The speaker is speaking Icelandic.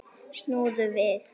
Snúðu við.